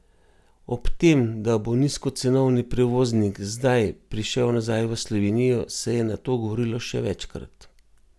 O tem, da bo nizkocenovni prevoznik zdaj zdaj prišel nazaj v Slovenijo, se je nato govorilo še večkrat.